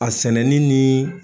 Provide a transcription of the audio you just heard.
A sɛnɛni ni